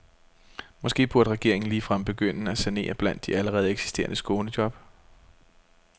Måske burde regeringen ligefrem begynde med at sanere blandt de allerede eksisterende skånejob.